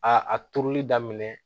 A a turuli daminɛ